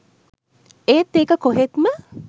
ඒත් ඒක කොහෙත්ම